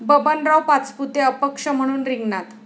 बबनराव पाचपुते अपक्ष म्हणून रिंगणात